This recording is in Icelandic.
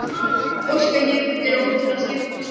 Edda Garðarsdóttir tók hornspyrnu á nærstöngina.